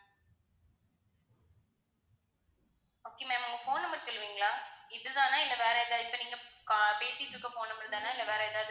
okay ma'am உங்க phone number சொல்லுவீங்களா? இது தானா இல்ல வேற எதாவது இப்ப நீங்க பேசிக்கிட்டு இருக்கிற phone number தானே இல்ல வேற எதாவது இருக்கா?